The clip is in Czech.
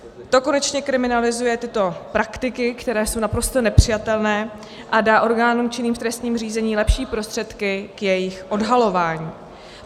To konečně kriminalizuje tyto praktiky, které jsou naprosto nepřijatelné, a dá orgánům činným v trestním řízení lepší prostředky k jejich odhalování.